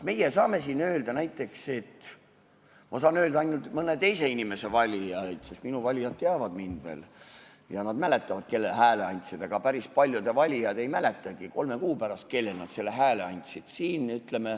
Ma saan rääkida ainult mõne teise inimese valijatest, sest minu valijad teavad mind ja nad mäletavad, kellele nad hääle andsid, aga päris paljude valijad ei mäleta kolme kuu pärast, kellele nad hääle andsid.